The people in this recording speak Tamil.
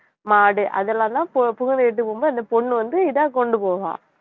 மாடு அதெல்லாம்தான் பு~ புகுந்த வீட்டுக்கு போகும் போது அந்த பொண்ணு வந்து இதா கொண்டு போகும்